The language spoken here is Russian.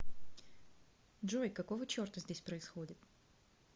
джой какого черта здесь происходит